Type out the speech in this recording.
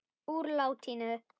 Úr latínu